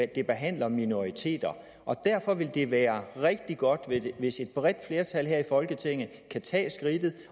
det behandler minoriteter og derfor vil det være rigtig godt hvis et bredt flertal her i folketinget kan tage skridtet